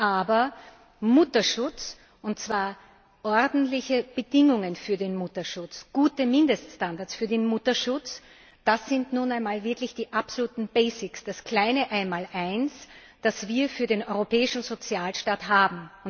Aber Mutterschutz und zwar ordentliche Bedingungen für den Mutterschutz, gute Mindeststandards für den Mutterschutz das sind nun wirklich die absoluten basics das kleine Einmaleins, das wir für den europäischen Sozialstaat haben.